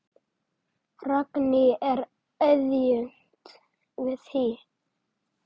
Ragný er aðjunkt við HÍ.